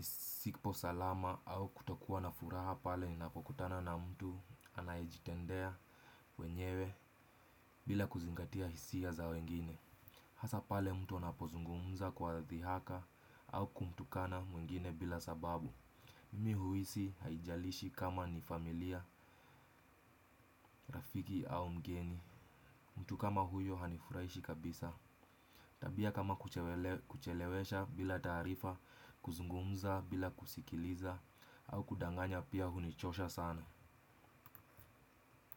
sipo salama au kutokuwa na furaha pale ninapokutana na mtu anayejitendea wenyewe bila kuzingatia hisia za wengine. Hasa pale mtu anapozungumza kwa dhihaka au kumtukana mwingine bila sababu. Mimi huisi haijalishi kama ni familia, rafiki au mgeni. Mtu kama huyo hanifurahishi kabisa. Tabia kama kuchelewesha bila taarifa, kuzungumza bila kusikiliza au kudanganya pia hunichosha sana.